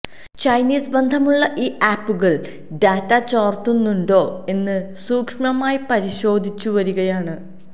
Chinese ബന്ധമുള്ള ഈ ആപ്പുകള് ഡാറ്റ ചോര്ത്തുന്നുണ്ടോ എന്ന് സൂക്ഷ്മമായി പരിശോധിച്ചു വരികയാണ്